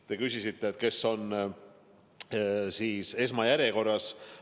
Te küsisite, kes on esmajärjekorras.